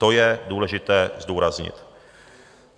To je důležité zdůraznit.